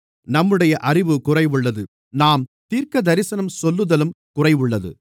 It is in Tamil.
நம்முடைய அறிவு குறைவுள்ளது நாம் தீர்க்கதரிசனம் சொல்லுதலும் குறைவுள்ளது